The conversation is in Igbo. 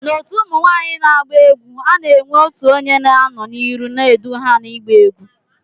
Na otu ụmụnwanyi na agba egwu, ana enwe otụ onye na anọ na iru n'edu ha na igba egwu.